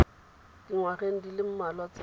dingwageng di le mmalwa tse